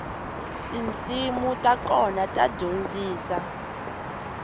tinsimu ta kona ta dyondzisa